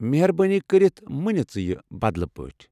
مہربٲنی كرِتھ مہٕ نہِ ژٕ یہِ بدلہٕ پٲٹھۍ ۔